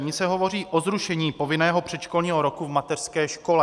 V ní se hovoří o zrušení povinného předškolního roku v mateřské škole.